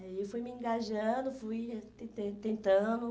Aí eu fui me engajando, fui tentan tentando.